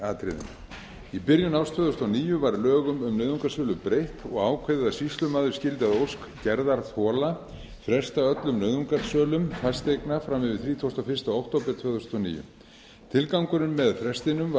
atriðum í byrjun árs tvö þúsund og níu var lögum um nauðungarsölu breytt og ákveðið að sýslumaður skyldi að ósk gerðarþola fresta öllum nauðungarsölum fasteigna fram yfir þrítugasta og fyrsta október tvö þúsund og níu tilgangurinn með frestinum var